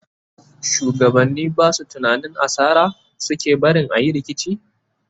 shugabani Basu tunanin asara suke barin ayi rikici?